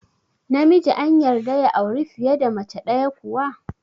Namiji an yarda ya auri fiye da mace ɗaya kuwa?